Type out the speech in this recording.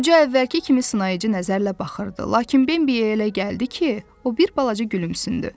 Qoca əvvəlki kimi sınayıcı nəzərlə baxırdı, lakin Bimbiyə elə gəldi ki, o bir balaca gülümsündü.